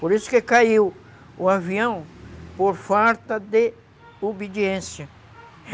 Por isso que caiu o avião, por falta de obediência.